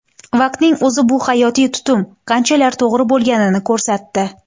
Vaqtning o‘zi bu hayotiy tutum qanchalar to‘g‘ri bo‘lganini ko‘rsatdi”.